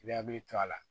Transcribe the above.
I bɛ hakili to a la